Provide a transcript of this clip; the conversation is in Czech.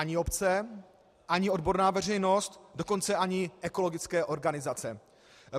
Ani obce, ani odborná veřejnost, dokonce ani ekologické organizace.